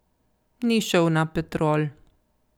Ni šel na Petrol.